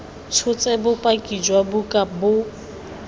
tshotse bopaki jwa buka bo